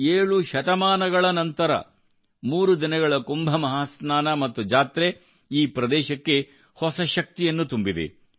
ಏಳು ಶತಮಾನಗಳ ನಂತರ ಮೂರು ದಿನಗಳ ಕುಂಭ ಮಹಾಸ್ನಾನ ಮತ್ತು ಜಾತ್ರೆಯು ಈ ಪ್ರದೇಶಕ್ಕೆ ಹೊಸ ಶಕ್ತಿಯನ್ನು ತುಂಬಿದೆ